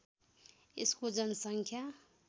यसको जनसङ्ख्या